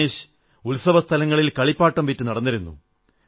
രമേശ് ഉത്സവസ്ഥലങ്ങളിൽ കളിപ്പാട്ടം വിറ്റു നടന്നിരുന്നു